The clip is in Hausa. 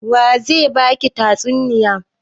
Wa ze ba ki tatsuniya?